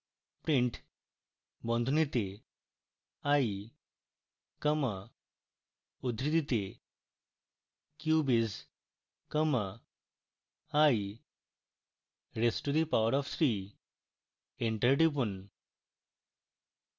print বন্ধনীতে i comma উদ্ধৃতিতে cube is comma i raised to power of three enter টিপুন